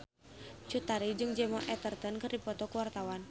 Cut Tari jeung Gemma Arterton keur dipoto ku wartawan